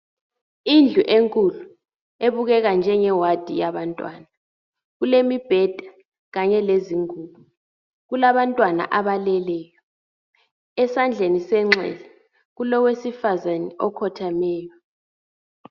Indlu enkulu ebukeka njenge wadi yabantwana, kulemibheda kanye lezingubo, kulabantwana abaleleyo, ezandleni senxele kulowe sifazana okhothemeyo.